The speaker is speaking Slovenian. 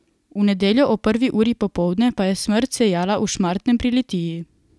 V nedeljo ob prvi uri popoldne pa je smrt sejala v Šmartnem pri Litiji.